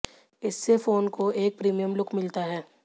इससे फ़ोन को एक प्रीमियम लुक मिलता है